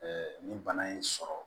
ni bana y'i sɔrɔ